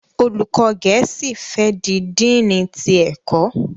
Olùkó gèésì fè di Dínni tí ẹkọ.